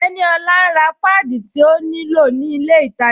Teníolá n rá pádí tí ó ní lọ̀ ni ilẹ̀ ìtajá